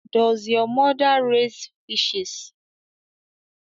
Does your mother raise fishes